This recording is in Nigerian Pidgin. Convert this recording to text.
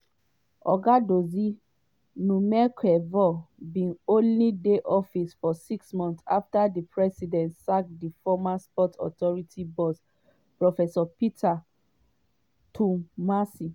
oga dodzie numekevor bin only dey office for six months afta di president sack di former sports authority boss professor peter twumasi.